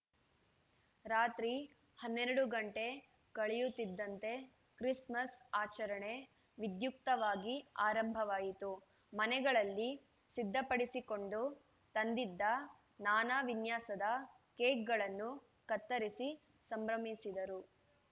ರಾತ್ರಿ ಹನ್ನೆರಡು ಗಂಟೆ ಕಳೆಯುತ್ತಿದ್ದಂತೆ ಕ್ರಿಸ್‌ಮಸ್‌ ಆಚರಣೆ ವಿದ್ಯುಕ್ತವಾಗಿ ಆರಂಭವಾಯಿತು ಮನೆಗಳಲ್ಲಿ ಸಿದ್ಧಪಡಿಸಿಕೊಂಡು ತಂದಿದ್ದ ನಾನಾ ವಿನ್ಯಾಸದ ಕೇಕ್‌ಗಳನ್ನು ಕತ್ತರಿಸಿ ಸಂಭ್ರಮಿಸಿದರು